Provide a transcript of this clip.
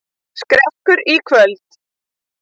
Skrekkur í kvöld